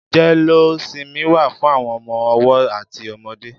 Jẹléósimí wà fù awọn ọmọ ọwọ àtí ọmọdé